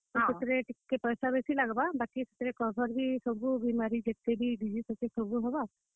ତ ସେଥିରେ ଟିକେ ପଏସା ବେସି ଲାଗବା। ବାକି ସେଥିରେ cover ବି ବେସି, ବେଲେ ଯେତେ ସବୁ ବିମାରୀ ଅଛେ ସବୁ ହେବା। ।